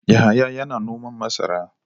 Yahaya yana noman masara.